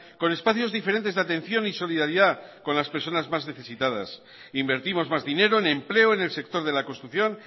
con espacios diferentes de atención y solidaridad con las personas más necesitadas invertimos más dinero en empleo en el sector de la construcción